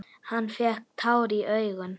Hann fékk tár í augun.